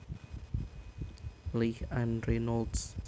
Leigh Ann Reynolds